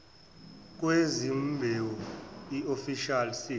kwezimbewu iofficial seed